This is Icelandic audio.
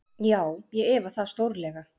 Já, ég efa það stórlega.